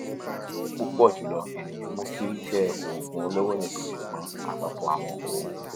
nitorinaa pupọ julọ eniyan mu kii ṣe oogun oloro nikan ṣugbọn apapọ awọn oogun